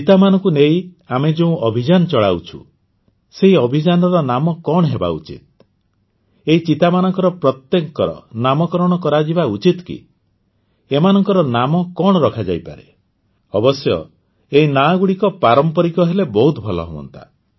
ଚିତାମାନଙ୍କୁ ନେଇ ଆମେ ଯେଉଁ ଅଭିଯାନ ଚଳାଉଛୁଁ ସେହି ଅଭିଯାନର ନାମ କଣ ହେବା ଉଚିତ ଏହି ଚିତାମାନଙ୍କର ପ୍ରତ୍ୟେକଙ୍କର ନାମକରଣ କରାଯିବା ଉଚିତ କି ଏମାନଙ୍କ ନାମ କଣ ରଖାଯାଇପାରେ ଅବଶ୍ୟ ଏହି ନାଁ ଗୁଡ଼ିକ ପାରମ୍ପାରିକ ହେଲେ ବହୁତ ଭଲ ହୁଅନ୍ତା